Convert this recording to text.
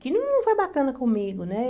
Que não foi bacana comigo, né?